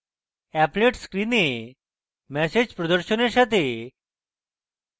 applet স্ক্রিনে message প্রদর্শনের সাথে